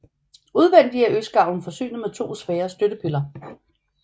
Udvendig er østgavlen forsynet med to svære støttepiller